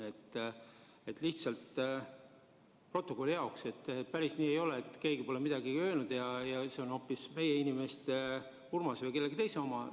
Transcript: Ma lihtsalt protokolli jaoks märgin, et päris nii ei ole, et keegi pole midagi öelnud ja et see on hoopis meie inimeste, Urmase või kellegi teise jutt.